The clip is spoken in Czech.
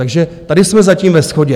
Takže tady jsme zatím ve shodě.